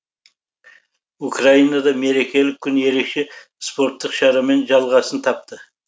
украинада мерекелік күн ерекше спорттық шарамен жалғасын тапты